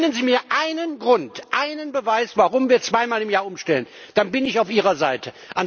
Nennen Sie mir einen Grund, einen Beweis, warum wir zweimal im Jahr umstellen, dann bin ich auf Ihrer Seite.